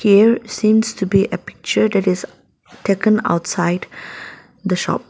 Here seems to be a picture that taken outside the shop.